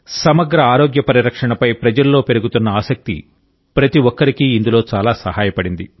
సమగ్ర ఆరోగ్య పరిరక్షణపై ప్రజల్లో పెరుగుతున్న ఆసక్తి ప్రతి ఒక్కరికీ ఇందులో చాలా సహాయపడింది